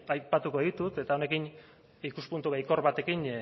aipatuko ditut eta honekin ikuspuntu baikor batekin